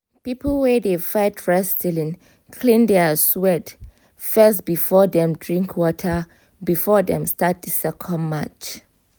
people wey dey fight wrestling clean their sweat fess before dem drink water before dem start the second match